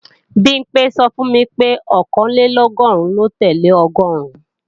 Bimpé sọ fún mi pé Ọ̀kànlélọ́gọ́rùn lo tẹ́lẹ̀ ọgọ́ọ̀rún